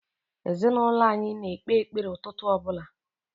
Ezinaụlọ anyị na-ekpe ekpere ụtụtụ ọ bụla.